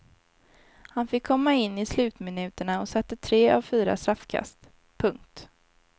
Han fick komma in i slutminuterna och satte tre av fyra straffkast. punkt